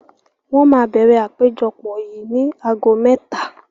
Wọn máa bẹ̀rẹ̀ àpéjọpọ̀ yìí ni ago mẹ́ta